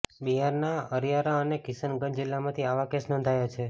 બિહારના અરારિયા અને કિશનગંજ જિલ્લામાંથી આવા કેસ નોંધાયા છે